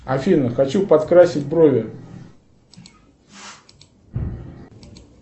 афина хочу подкрасить брови